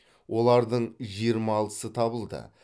олардың жиырма алтысы табылды